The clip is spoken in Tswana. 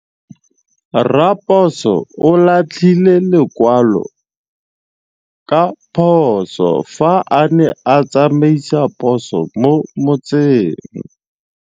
Raposo o latlhie lekwalô ka phosô fa a ne a tsamaisa poso mo motseng.